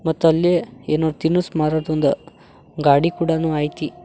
ಮತ್ತ ಅಲ್ಲಿ ಏನೋ ತಿನಸ ಮಾರುದೊಂದ ಗಾಡಿ ಕೂಡನು ಐತಿ.